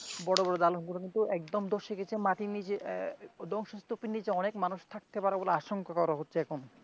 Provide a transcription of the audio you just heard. বড়বড় দালানের ভিতরে একদম ধসে গেছে মাটির নিচে আহ ধ্বংস স্তুপের নীচে অনেক মানুষ থাকতে পারে বলে আশঙ্কা করা হচ্ছে এখন.